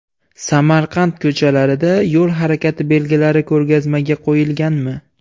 Samarqand ko‘chalarida yo‘l harakati belgilari ko‘rgazmaga qo‘yilganmi?.